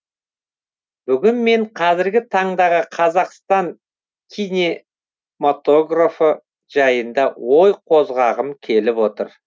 бүгін мен қазіргі таңдағы қазақстан кинематографы жайында ой қозғағым келіп отыр